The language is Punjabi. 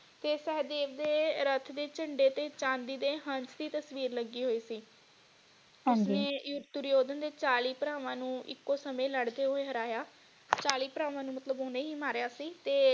ਤੇ ਸਹਿਦੇਵ ਦੇ ਰੱਥ ਦੇ ਝੰਡੇ ਤੇ ਚਾਂਦੀ ਦੇ ਹੰਸ ਦੀ ਤਸਵੀਰ ਲੱਗੀ ਹੋਈ ਸੀ ਹਾਂਜੀ ਇਹ ਦੁਰਯੋਧਨ ਦੇ ਚਾਲੀ ਭਰਾਵਾਂ ਨੂੰ ਇਕੋ ਸਮੇ ਲੜਦੇ ਹੋਏ ਹਰਾਇਆ ਚਾਲੀ ਭਰਾਵਾਂ ਨੂੰ ਮਤਲਬ ਓਨੇ ਹੀ ਮਾਰਿਆ ਸੀ ਤੇ।